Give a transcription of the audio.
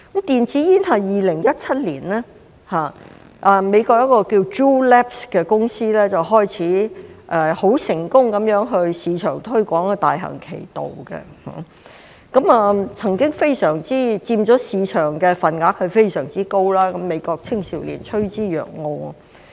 電子煙是在2017年，美國一間名為 Juul Labs 的公司開始成功在市場推廣，大行其道，曾經佔非常高的市場份額，美國青少年趨之若鶩。